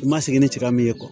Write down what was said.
I ma sigi ni cɛ ka min ye